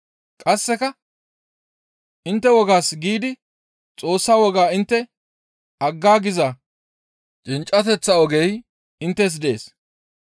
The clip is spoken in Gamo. Qasseka, «Intte wogaas giidi Xoossa wogaa intte aggaagiza cinccateththa ogey inttes dees.